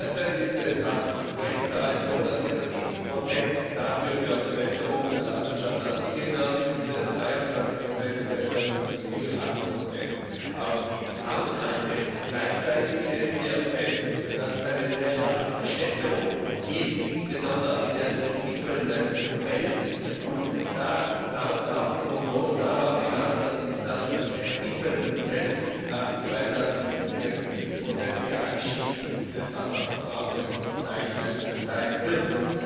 Derzeit ist es nach UN Zahlen so, dass circa 70 für Bewässerung in der Landwirtschaft ausgegeben werden, circa 22 entfallen auf die Industrie und 8 auf die Haushalte. Gleichzeitig stellen wir fest, dass es eine sehr starke Verstädterung gibt, insbesondere in der sich entwickelnden Welt. Da laufen auch die Prognosen darauf hinaus, dass in dieser sich entwickelnden Welt bis 2050 ein 50 iger Anstieg des Wasserverbrauches zu verzeichnen sein wird.